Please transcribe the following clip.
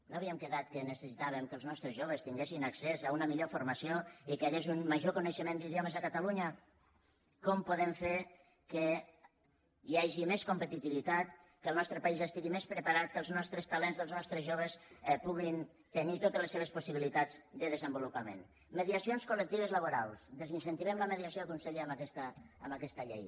no havíem quedat que necessitàvem que els nostres joves tinguessin accés a una millor formació i que hi hagués un major coneixement d’idiomes a catalunya com podem fer que hi hagi més competitivitat que el nostre país estigui més preparat que els nostres talents dels nostres joves puguin tenir totes les seves possibilitats de desenvolupament mediacions coldiació conseller amb aquesta llei